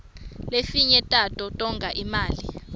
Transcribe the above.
lefinye tato tonga imali